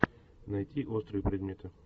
найти острые предметы